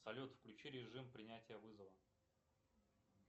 салют включи режим принятия вызова